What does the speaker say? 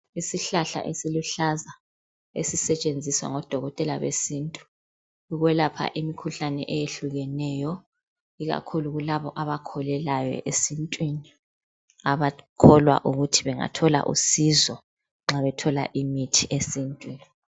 Isihlahla esiluhlaza esisetshenziswa ngodokotela besintu ,ukwelapha imikhuhlane eyehlukeneyo. Ikakhulu kulabo abakholelayo esintwini. Abakholwa ukuthi bengathola usizo nxa bethola imithi esintwini .